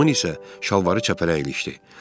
Tomun isə şalvarı çəpərə ilişdi.